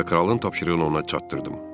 Kralın tapşırığını ona çatdırdım.